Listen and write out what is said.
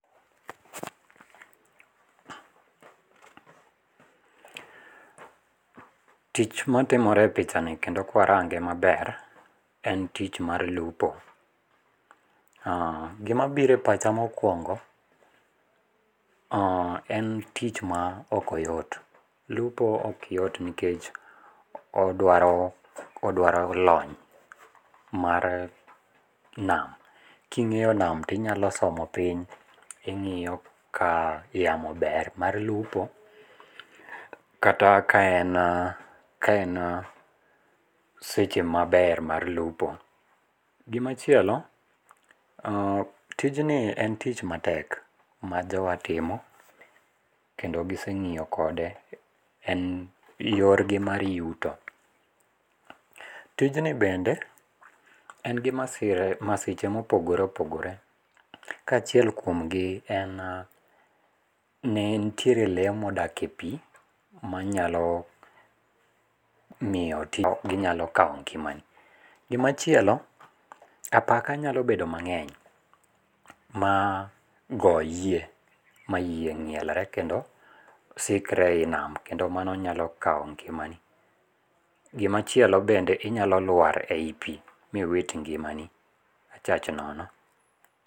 Tich matimore e pichani kendo ka warang'e maber, en tich mar lupo, gimabiro e pacha mokuongo , en tich mar okoyot, lupo ok yot nikech odwaro lony mar nam, king'iyo nam to inyalo somo piny, ing'iyo ka yamo ber mar lupo, kata ka en seche maber mar lupo. Gimachielo tijni en tich matek majowa timo kendo gise ng'iyo kode en yorgi mar yuto, tijni bende en gi masira masiche mopogore opogore, kachiel kuomgi en ne entiere le modakie pi manyalo miyo ti ginyalo kawo ng'imani. Gimachielo apaka nyalo bedo mang'eny magoyie ma yie ng'ielre kendo osikre e yi nam kendo mano nyalo kawo ng'imani, gimachielo bende inyalo lwar e yi pi miwit ng'imani achach nono.